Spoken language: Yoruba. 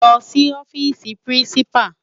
Lò si òfisi pirinsipá